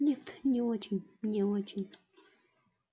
нет не очень не очень